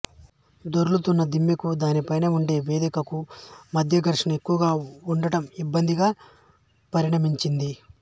దొర్లుతున్న దిమ్మకూ దానిపైన ఉండే వేదికకూ మధ్య ఘర్షణ ఎక్కువగా ఉండటం ఇబ్బందిగా పరిణమించింది